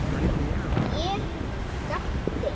Ef hann hefði verið þannig.